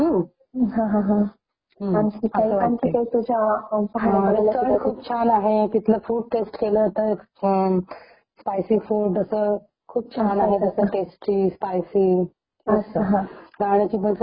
राहण्याची पण खूप उत्तम व्यवस्था आहे ट्रॅव्हलिंग वगैरे जे आहे खूप वेवस्था केलेली आहे जाण्याची पण खूप छान उत्तम व्यवस्था केलेली आहे तिथे तुम्ही छान तिथे डायरेक्ट फोर व्हिलर नि पण जाऊ शकता तुम्ही तिथे जाण्या येण्याची खूप सुविधा आहे